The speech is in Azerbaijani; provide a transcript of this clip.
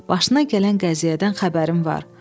Başına gələn qəziyyədən xəbərim var.